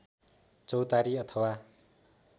चौतारी अथवा